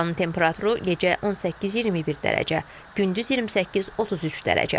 Havanın temperaturu gecə 18-21 dərəcə, gündüz 28-33 dərəcə.